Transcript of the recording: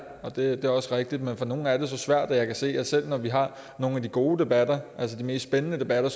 og det er også rigtigt men for nogle er det så svært og jeg kan se selv når vi har nogle af de gode debatter altså de mest spændende debatter